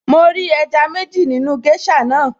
Mo rí ẹja méjì nínú géṣà naa